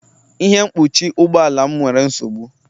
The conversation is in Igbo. Ihe mkpuchi ụgbọ ala m nwere nsogbu